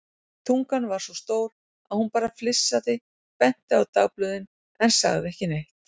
Tungan var svo stór að hún bara flissaði, benti á dagblöðin en sagði ekki neitt.